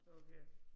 Okay